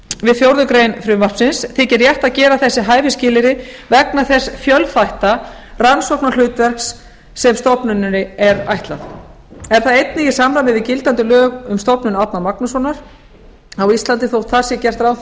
við fjórðu grein frumvarpsins þykir rétt að gera þessi hæfisskilyrði vegna þess fjölþætta rannsóknarhlutverk sem stofnuninni er ætlað er það einnig í samræmi við gildandi lög um stofnun árna magnússonar á íslandi þótt þar sé gert ráð